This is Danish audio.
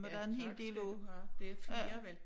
Ja tak skal du have det flere vel